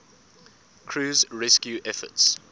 crew's rescue efforts